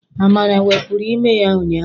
Amara wepụrụ ime ya ụnyaahụ.